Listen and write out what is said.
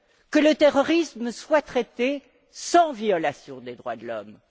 Que le terrorisme soit traité sans violations des droits de l'homme.